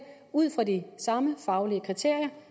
ud fra de samme faglige kriterier